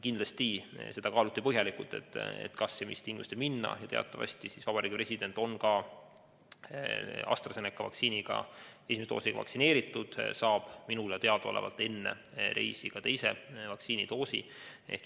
Kindlasti kaaluti põhjalikult, kas ja mis tingimustel minna, ja teatavasti on president saanud AstraZeneca vaktsiini esimese doosi ning minule teadaolevalt saab ta enne reisi ka teise vaktsiinidoosi.